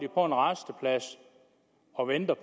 på en rasteplads og venter